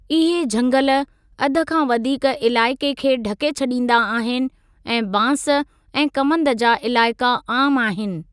इहे झंगल, अध खां वधीक इलाइक़े खे ढके छॾींदा आहिनि ऐं बांस ऐं कमंद जा इलाइक़ा आम आहिनि।